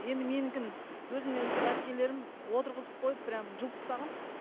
енді менікін өзімнен үлкен әпкелерім отырғызып қойып прямо жұлып тастаған